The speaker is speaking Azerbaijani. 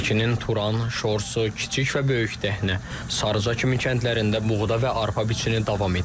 Şəkinin Turan, Şorsu, Kiçik və Böyük Dəhnə, Sarıca kimi kəndlərində buğda və arpa biçini davam edir.